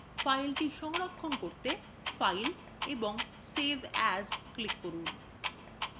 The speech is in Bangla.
file সংরক্ষণ করতে file এবং save as এ click করুন